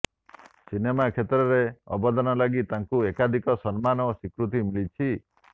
cinema କ୍ଷେତ୍ରରେ ଅବଦାନ ଲାଗି ତାଙ୍କୁ ଏକାଧିକ ସମ୍ମାନ ଓ ସ୍ୱୀକୃତି ମିଳିଛି